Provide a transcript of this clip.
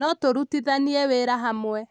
notũrutithanie wĩra hamwe